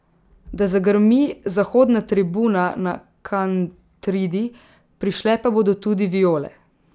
Da zagrmi zahodna tribuna na Kantridi, prišle pa bodo tudi Viole.